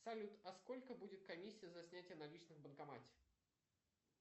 салют а сколько будет комиссия за снятие наличных в банкомате